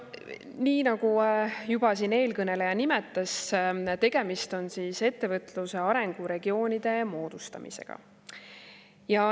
" Nii, nagu juba eelkõneleja nimetas: tegemist on ettevõtluse arenguregioonide moodustamisega.